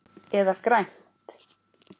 Eða grænt.